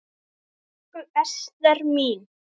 Elsku Ester mín.